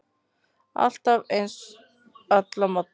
Alltaf eins, alla morgna.